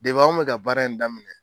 Debi anw bɛ ka baara in daminɛ